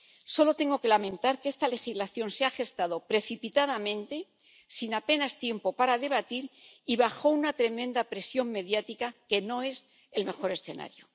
Solo tengo que lamentar que esta legislación se haya gestado precipitadamente, sin apenas tiempo para debatir y bajo una tremenda presión mediática, que no es el mejor escenario.